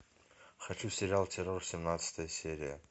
хочу сериал террор семнадцатая серия